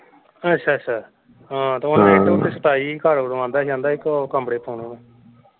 ਅੱਛਾ ਅੱਛਾ ਹਾਂ ਤੇ ਇੱਟ ਉੱਤੇ ਸੁੱਟਵਾਈ ਸੀ ਘਰ ਓਦੋਂ ਕਹਿੰਦਾ ਸੀ ਕਹਿੰਦਾ ਸੀ ਇਕ ਕਮਰੇ ਪਾਉਣੇ ਮੈਂ।